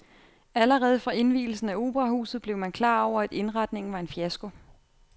Allerede fra indvielsen af operahuset blev man klar over at indretningen var en fiasko.